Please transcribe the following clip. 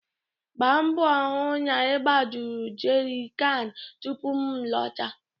Gba mgbọ hụ na ị gbajuru jeri kan tupu m lọta!